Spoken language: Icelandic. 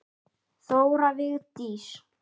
Þóra Vigdís.